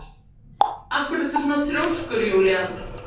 Af hverju ertu svona þrjóskur, Júlían?